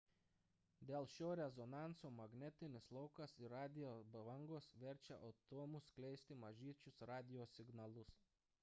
dėl šio rezonanso magnetinis laukas ir radijo bangos verčia atomus skleisti mažyčius radijo signalus